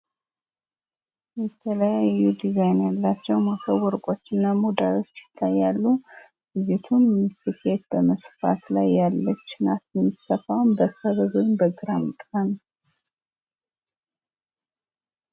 የተለያዩ ዱዛይን ያላቸው ሞሰብ ወርቆችና ሙዳዮች ይታያሉ። ልጅቱም ስፌት በመስፋት ላይ ያለች ናት። የምትሰፋውም በሰበዝ ወይም በግራምጣ ነው።